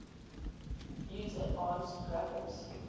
use advanced graphics